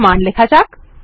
কিছু মান লেখা যাক